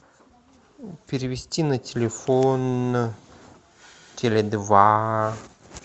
перевести на телефон теле два